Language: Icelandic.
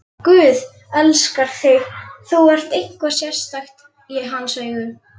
Guð elskar þig, þú ert eitthvað sérstakt í hans augum.